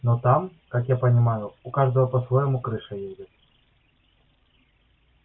но там как я понимаю у каждого по-своему крыша едет